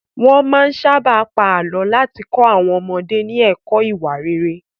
Wọ́n máa ń sábà pa àlọ́ láti kọ́ àwọn ọmọdé ní ẹ̀kọ́ ìwà rere.